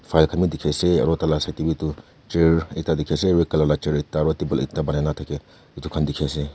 file khan be dekhe ase aro tai la satheni tu chair ekda dekhe ase red colour etu khan dekhe ase.